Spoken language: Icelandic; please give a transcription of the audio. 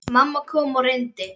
Mamma kom og reyndi.